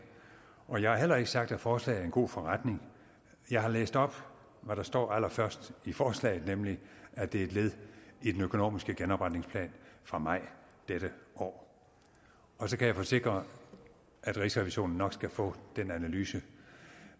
og jeg har heller ikke sagt at forslaget er en god forretning jeg har læst op hvad der står allerførst i forslaget nemlig at det er et led i den økonomiske genopretningsplan fra maj dette år så kan jeg forsikre at rigsrevisionen nok skal få den analyse